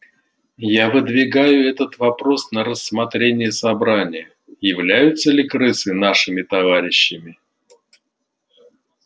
я выдвигаю этот вопрос на рассмотрение собрания являются ли крысы нашими товарищами